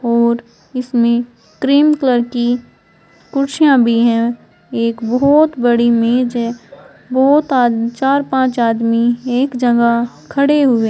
और इसमें cream colour की कुर्सियां भी हैं एक बहोत बड़ी मेज है बहोत आ चार पांच आदमी एक जगह खड़े हुए--